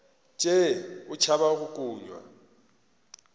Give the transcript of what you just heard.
tšee o tšhaba go kunywa